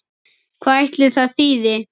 Hvað ætli það þýði?